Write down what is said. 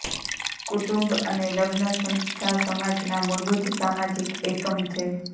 કુટુંબ અને લગ્ન સંસ્થા સમાજના મૂળભૂત સામાજિક એકમ છે